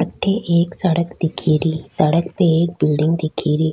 अठे एक सड़क दिखे री सड़क पे एक बिलडिंग दिखे री